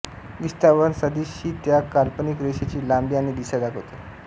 विस्थापन सदिश ही त्या काल्पनिक रेषेची लांबी आणि दिशा दाखविते